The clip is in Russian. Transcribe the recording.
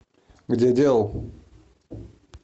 где делал